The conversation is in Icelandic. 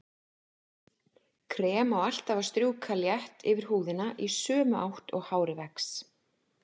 Krem á alltaf að strjúka létt yfir húðina í sömu átt og hárið vex.